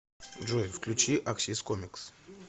джой включи аксис комикс